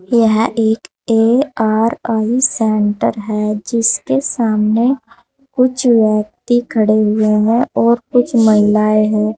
यह एक A R I centre है जिसके सामने कुछ व्यक्ति खड़े हुए हैं और कुछ महिलाएं हैं।